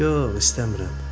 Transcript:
Yox, istəmirəm.